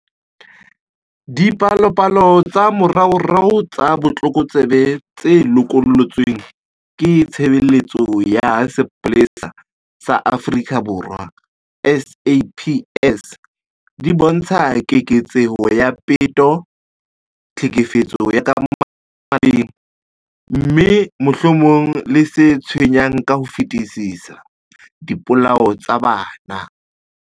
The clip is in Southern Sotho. Dipalopalo tsa moraorao tsa botlokotsebe tse lokollotsweng ke Tshebeletso ya Sepolesa sa Afrika Borwa, SAPS, di bontsha keketseho ya peto, tlhekefetso ya ka malapeng, mme, mohlomong le se tshwenyang ka ho fetisisa, dipolao tsa bana.